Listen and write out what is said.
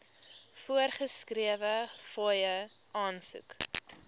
voorgeskrewe fooie aansoek